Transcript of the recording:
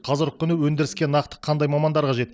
қазіргі күні өндіріске нақты қандай мамандар қажет